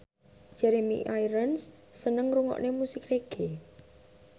Jeremy Irons seneng ngrungokne musik reggae